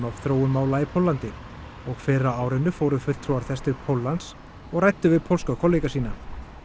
af þróun mála í Póllandi og fyrr á árinu fóru fulltrúar þess til Póllands og ræddu við pólska kollega sína